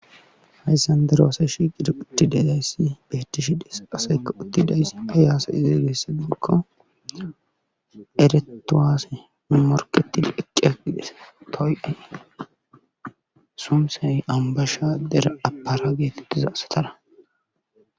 hayssan daroshiqido ucti delayssi beetishides asekka utti dayss ayyaase izeegessadikko eretowaasse morketil eqqe agides toy7ay sumsey ambasha dera apara geetettiza asatara